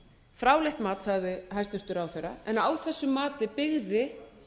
fráleitt mat sagði hæstvirtur ráðherra en á þessu mati byggði